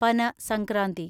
പന സംക്രാന്തി